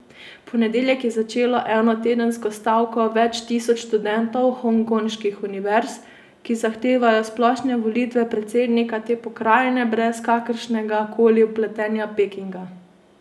V ponedeljek je začelo enotedensko stavko več tisoč študentov hongkonških univerz, ki zahtevajo splošne volitve predsednika te pokrajine brez kakršnega koli vpletanja Pekinga.